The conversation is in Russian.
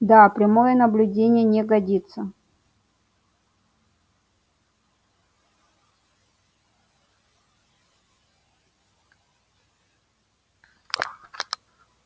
да прямое наблюдение не годится